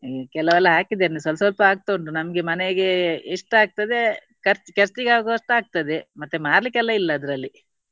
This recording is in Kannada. ಕೆಲವೆಲ್ಲ ಹಾಕಿದ್ದೇನೆ ಸ್ವಲ್ಪ ಸ್ವಲ್ಪ ಆಗ್ತಾ ಉಂಟು ನಮ್ಗೆ ಮನೆಗೆ ಎಷ್ಟಾಗ್ತದೆ ಖರ್ಚು ಖರ್ಚಿಗೆ ಆಗುವಷ್ಟು ಆಗ್ತದೆ ಮತ್ತೆ ಮಾರಲಿಕ್ಕೆ ಎಲ್ಲ ಇಲ್ಲ ಅದರಲ್ಲಿ.